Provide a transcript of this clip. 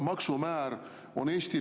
Mainisite jälle seda 2023. aastat.